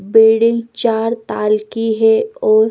building चार ताल की है और--